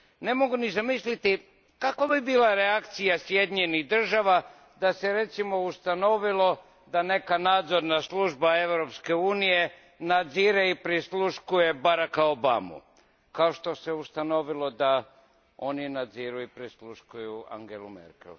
Ne mogu ni zamisliti kakva bi bila reakcija Sjedinjenih Država da se, recimo, ustanovilo da neka nadzorna služba Europske unije nadzire i prisluškuje Baracka Obamu, kao što se ustanovilo da oni nadziru i prisluškuju Angelu Merkel.